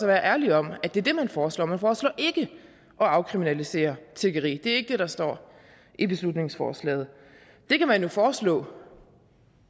være ærlig om at det er det man foreslår man foreslår ikke at afkriminalisere tiggeri det er ikke det der står i beslutningsforslaget det kan man jo foreslå